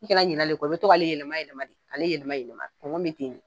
I kana ɲinalen kɔ, i bi to k'ale yɛlɛma yɛlɛma, ale yɛlɛma yɛlɛma kɔngɔ me ten ne.